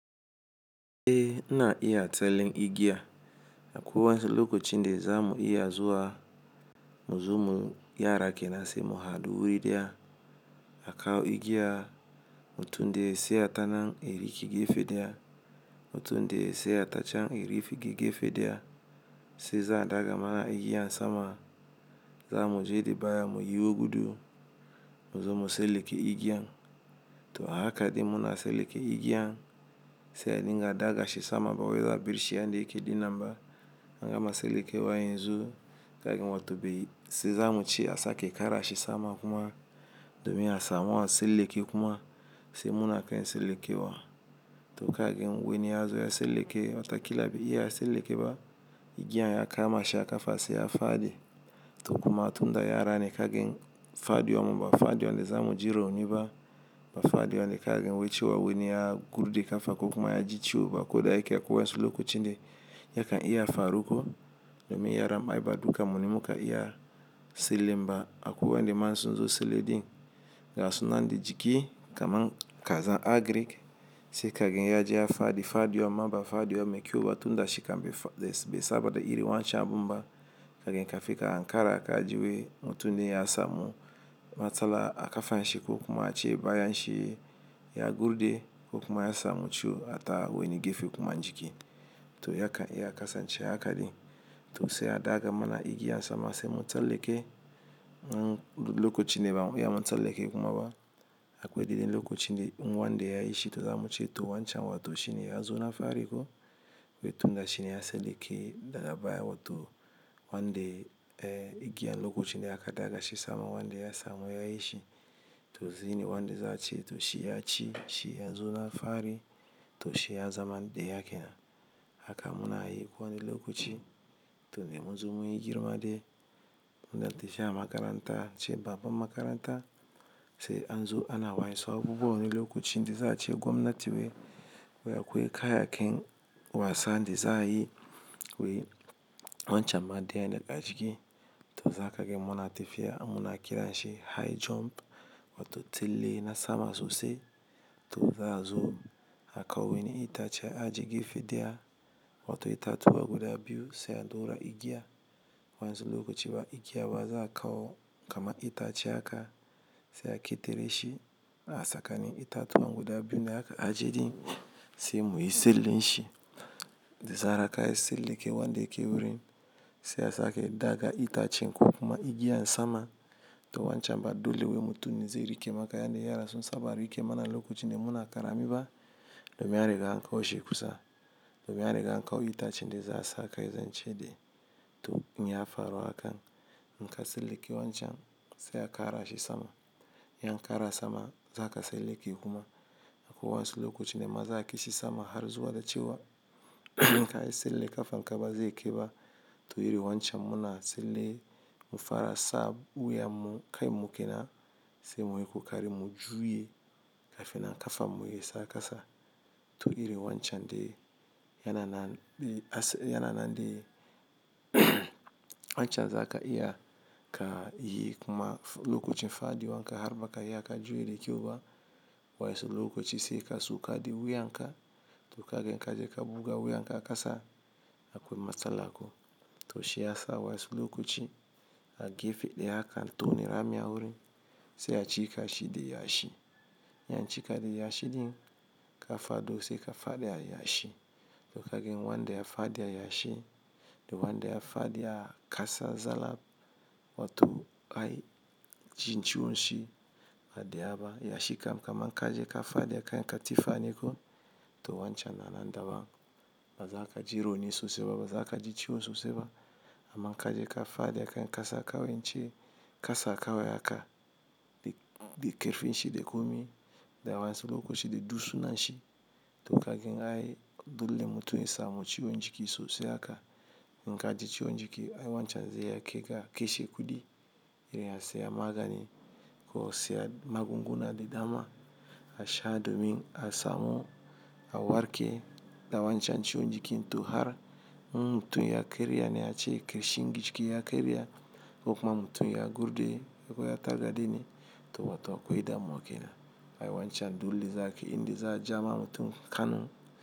Eh na iya tsellin igiya. Akwai wa'nsu lokacin da za mu iya zuwa. Muzo mu, yara ke na si mu hadu wurin da, akawo igiya. Mutum da ya saya tanan, eriki gefe da ya. Mutun daya ya saya tacan, erifi gefe da ya. Sai za a daga ma igiyan sama. Za mu je da baya mu yiwo gudu. Muzo mu seleke igiyan. To haka din muna seleke igiyan. Sai an yi ga daga shi sama ba wai yo abirshi yanda yake dinan ba. An gama selekewa yanzu. Kagen wa to be sai za mu ce a sake kara shi sama kuma domin a samu a seleke kuma, sai muna kain seleke wa. To kagen wani ya zo ya seleke, wa ta kila bai. Iya seleke ba, igiyan ya kama shi a kafa sai ya fadi. To kuma tunda yara ne, kagen fadi wan mu ba fadi wan da za mu ji roni ba. Ba fadiwan da kagen wai cewa wani ya gurje kafa ko kuma yaji ciwo ba. Kuda yake akwai wa'insu lokacine, ya kan iya faru ko. Domin yaran ma ba dukanmu me muka iya selenba. Akwai wa'inda ma inn sun zo sele din. Ga su nan da jiki kaman kaza agrik. Sai kagen ya je ya fadi, fadi wan ma ba fadiwa me kyau ba, tunda shi kam be saba da iri wancan abun ba. Kagen kafin ka ankara kaji wai mutum din ya samu matsala a kafanshi ko kuma ace bayanshi ya gurde, ko kuma ya samu ciwo a ta wani gefe kuma jiki. To ya kan iya kasance aka di. To sai a daga mana igiyan sama sai mu tsalleke, in duk lokacin ne da ba mu iya mun tsalleke kuma ba. Akwai deden lokacine in wanda ya yi shi to za mu ci to wancan wato shine ya zo na fari ko. Wai tunda shine ya seleke daga baya wa to, wanda eh igiyan lokucin da aka daga shi sama wanda ya samu ya yi shi. To zini wanda za a ce to shi ya ci, shi ya zo na fari. To shi ya zama ɗaya ke na. Haka muna yi ko wani lokaci. To de muzo mun yi girma de. Muna tafiya makaranta. Ce babban makaranta. Sai an zo ana wainsu abubuwa wani lokacin da za a ci gwamnati wai. Wai akwai kayaken wasa da za a yi. Wai wancan ma daya ne a aciki. To za kagen muna tafiya muna kiranshi high jump. Wato tsalle na sama sosai. To za a'zo a kawo wani itace a aje gefe da ya. Wato itatuwa guda biyu, sai a daura igiya. Wa'inzu lokaci ba igiya ba, za a kawo kama itace aka, sai a ƙetare shi a sakani itatuwa guda biyu ne aka ajiye ɗin. Sai mu yi sellen shi. Da zarar ka yi seleke wanda yake wurin. Sai a sake daga itacen ko kuma igiyan sama. To wancan ba dole wai mutum ne zai rike maka yanda yara sun saba rike mana lokacin da muna karami ba. Domin an riga an kawo shi kusa. Domin an riga an kawo itacen da za a sa kai zan ce de. To in ya faru hakan. In ka selleke wanacan, se a kara shi sama in yan kara sama, za ka seleke kuma. Akwai wan'nsu lokaci ne ma ma za'a kai shi sama har zuwa da cewa. In ka yi selle, kafanka ba zai kai ba. To iri wancan muna tsalle, mu fara sab wuyan mu, kain mu kenan. Se muyi kokari mu juye, kafin nan kafanmu yasa kasa to iri wancan de yana na yana na de. Wancan za ka iya ka yi kuma lokacin fadiwan ka har ba ka yi ka juye da keu ba. Wa'insu lokaci sai ka sauka di wuyan ka. To kagen ka je ka buga wuyan ka a kasa. Akwai matsala ko. To shi ya sa wai'insu lokacin, a gefe daya akan tona rami a wurin. Sai a cika shi de yashi. In ya an ci ka de ya shiɗin, ka fado sai ka fadi a ya shi. To kagen wanda ya fadi a yashi, da wanda ya fadi a kasa zalla, wato ai jin ciwon shi ba daya ba. Yashi kam kaman ka je ka fadi akan katifa ne ko. To wancan na nan daban. Ba za ka ji roni sosai ba, ba za ka ji ciwon sosai ba. Aman in ka je ka fadi akan kasa kawai, ince kasa kawai haka, de de ƙerfin shi de komi. Da wainsu lokacin da dusunan shi. To kagen ai dole mutum ya samu ciwon jiki sosai aka. In ka ji ciwon jiki ai wancan zai iya keka keshe kudi. Iri a siya magani, ko a siya magunguna da dama. A sha domin a samu a warke. Da wancan ciwon jiki to har in mutum ya karya ne, a ce kashin jiki ya ƙarya, ko kuma mutum ya gurde. Ko ya targaɗe ne. To wato akwai damuwa kenan. Ai wancan dole za ka in da za a ja ma mutum Kanu.